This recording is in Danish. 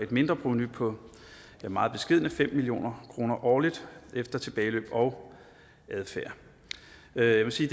mindreprovenu på meget beskedne fem million kroner årligt efter tilbageløb og adfærd jeg vil sige